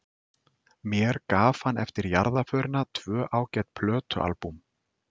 Mér gaf hann eftir jarðarförina tvö ágæt plötualbúm.